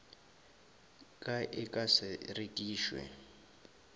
ka e ka se rekišwe